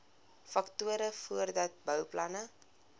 faktore voordat bouplanne